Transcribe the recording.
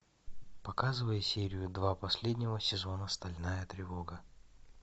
показывай серию два последнего сезона стальная тревога